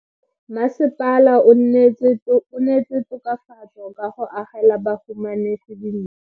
Mmasepala o neetse tokafatso ka go agela bahumanegi dintlo.